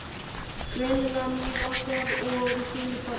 Greinilega nývaknaður og í fínu formi.